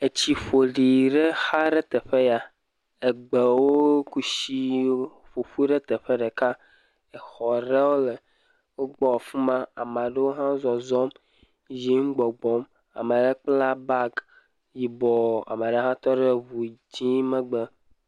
Etsi ƒoɖi ɖe xa ɖe teƒe ya, egbewo, kushi ƒoƒu ɖe teƒe ɖeka, exɔ ɖewo le wo gbɔ fima, amaɖewo hã zɔzɔm, yiyim, gbɔ gbɔm, amele kpla bagi yibɔ, ameɖe hã tɔ ɖe ʋu dzié megbe.